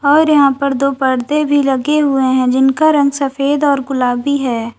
और यहां पर दो पर्दे भी लगे हुए हैं जिनका रंग सफेद और गुलाबी है।